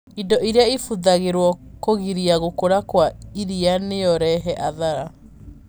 Indo iria ibũthagĩrũo kũgiria gũkũra kwa iria noireve athara